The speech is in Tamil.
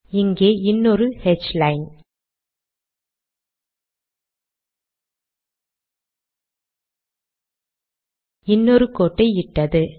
இங்கே இன்னொரு ஹ்லைன் இன்னொரு கோட்டை இட்டது